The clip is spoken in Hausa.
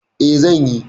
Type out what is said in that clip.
E, zan yi.